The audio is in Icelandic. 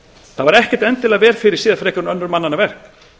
það var ekkert endilega vel fyrirséð frekar en önnur mannanna verk